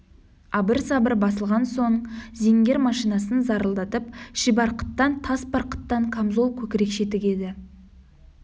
абыр-сабыр басылған соң зингер машинасын зарылдатып шибарқыттан тас барқыттан камзол көкірекше тігеді